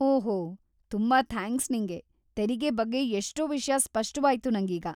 ಓಹೋ, ತುಂಬಾ ಥ್ಯಾಂಕ್ಸ್‌ ನಿಂಗೆ, ತೆರಿಗೆ ಬಗ್ಗೆ ಎಷ್ಟೋ ವಿಷ್ಯ ಸ್ಪಷ್ಟವಾಯ್ತು ನಂಗೀಗ.